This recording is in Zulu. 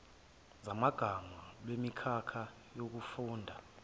zamagama lwemikhakha yokufunda